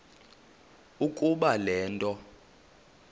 ukuba le nto